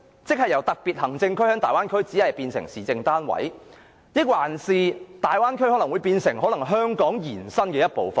在大灣區內由香港特區變成市政單位，還是大灣區可能變成香港延伸的一部分？